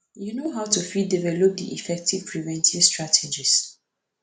you know how you fit develop di effective prevention strategies